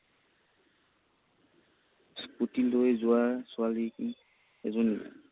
স্কুটিলৈ যোৱা ছোৱালী এজনী